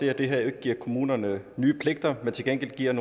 er at det her jo ikke giver kommunerne nye pligter men til gengæld giver